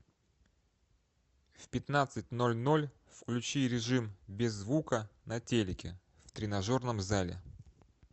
в пятнадцать ноль ноль включи режим без звука на телике в тренажерном зале